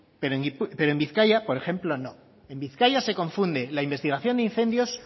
pero en bizkaia por ejemplo no en bizkaia se confunde la investigación de incendios